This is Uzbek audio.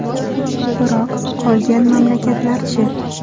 Biroq qolgan mamlakatlar-chi?